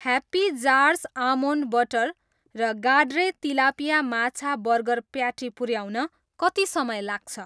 Happy jars almond butter र गाड्रे tilapia माछा बर्गर प्याटी पुऱ्याउन कति समय लाग्छ?